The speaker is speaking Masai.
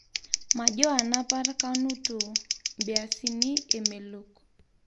Majoo anapar kaunuto beasini emelok